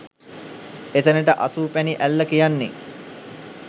එතැනට අසුපැනි ඇල්ල කියන්නේ.